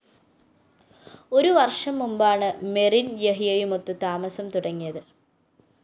ഒരു വര്‍ഷം മുമ്പാണ് മെറിന്‍ യഹ്യയുമൊത്ത് താമസം തുടങ്ങിയത്